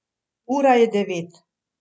Ura je devet.